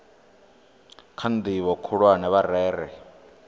kha ndivho khulwane vha rere